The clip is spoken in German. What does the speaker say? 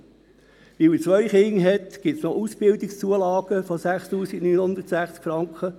Weil der Mann zwei Kinder hat, erhält er noch Ausbildungszulagen von 6960 Franken.